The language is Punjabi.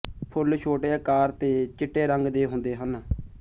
ਫੁੱਲ ਛੋਟੇ ਆਕਾਰ ਤੇ ਚਿੱਟੇ ਰੰਗ ਦੇ ਹੁੰਦੇ ਹਨ